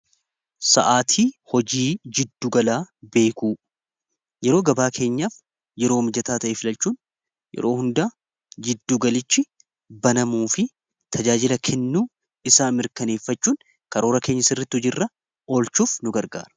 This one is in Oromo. Sa'aatii hojii jidduugalaa beekuu yeroo gabaa keenyaaf yeroo mijataa ta'e filalchuun yeroo hunda jiddugalichi banamuu fi tajaajila kennuu isaa mirkaneeffachuun karoora keenya sirritti hojiirra olchuuf nu gargaara.